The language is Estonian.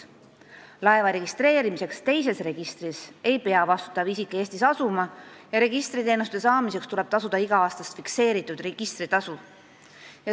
Laeva registreerimiseks teises registris ei pea vastutav isik asuma Eestis ja registriteenuste saamiseks tuleb tasuda iga-aastast fikseeritud registritasu.